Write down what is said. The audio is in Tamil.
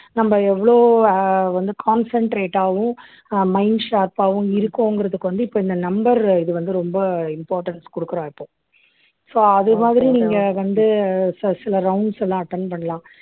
நம்ம எவ்வளவு ஆஹ் வந்து concentrate ஆவும் அஹ் mind sharp ஆவும் இருக்கோங்கிறதுக்கு வந்து இப்ப இந்த number இது வந்து ரொம்ப importance கொடுக்கிறா இப்போ so அது மாதிரி நீங்க வந்து ச சில rounds எல்லாம் attend பண்ணலாம்